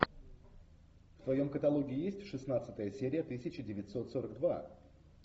в твоем каталоге есть шестнадцатая серия тысяча девятьсот сорок два